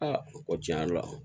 Aa ko tiɲɛ yɛrɛ la